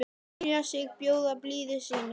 selja sig, bjóða blíðu sínu